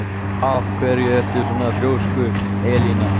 Af hverju ertu svona þrjóskur, Elina?